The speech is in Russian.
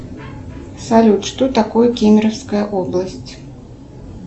салют что такое кемеровская область